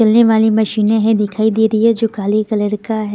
चलने वाली मशीनें हैं दिखाई दे रही है जो काले कलर का हैं।